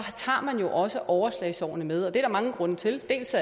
tager man jo også overslagsårene med og det er der mange grunde til dels